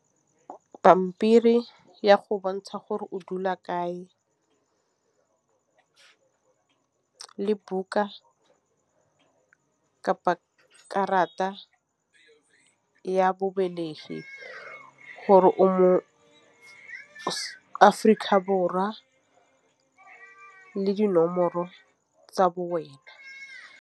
Pampiri ya go bontsha gore o dula kae le buka karata ya bobelegi gore o mo-Aforika Borwa le dinomoro tsa bo wena.